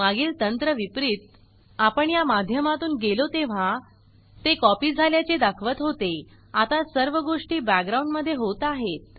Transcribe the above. मागील तंत्र विपरीत आपण या माध्यमातून गेलो तेव्हा ते कॉपी झाल्या चे दाखवत होते आता सर्व गोष्टी बॅकग्राउंड मध्ये होत आहेत